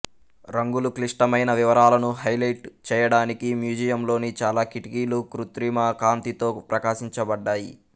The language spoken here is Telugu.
రంగులు క్లిష్టమైన వివరాలను హైలైట్ చేయడానికి మ్యూజియంలోని చాలా కిటికీలు కృత్రిమ కాంతితో ప్రకాశించబడ్డాయి